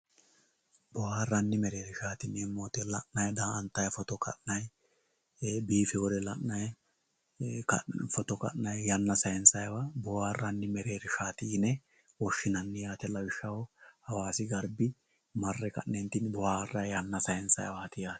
booharranni mereershshaati yineemmo daa'antanni foto ka'nanni woy biifewore la'anayi foto kaynsayiwa booharanni mereershshaati yine woshshinanni lawishshaho hawaasi garbi marre ka'neentinni